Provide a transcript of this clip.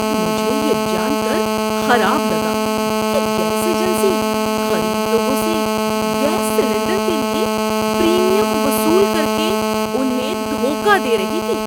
مجھے یہ جان کر خراب لگا کہ گیس ایجنسی غریب لوگوں سے گیس سلنڈر کے لیے پریمیم وصول کر کے انھیں دھوکہ دے رہی تھی۔